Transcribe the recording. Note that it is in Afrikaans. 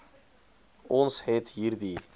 ons het hierdie